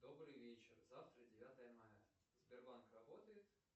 добрый вечер завтра девятое мая сбербанк работает